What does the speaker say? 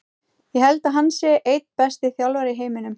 Ég held að hann sé einn besti þjálfari í heiminum.